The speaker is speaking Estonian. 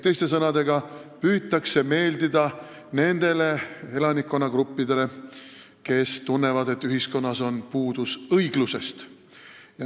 Teiste sõnadega, püütakse meeldida nendele elanikkonnagruppidele, kes tunnevad, et ühiskonnas on puudus õiglusest.